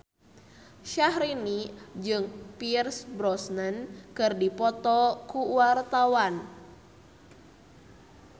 Syahrini jeung Pierce Brosnan keur dipoto ku wartawan